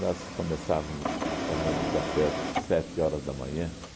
Nós começávamos tomando café às sete horas da manhã.